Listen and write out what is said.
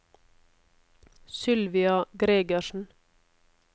Sylvia Gregersen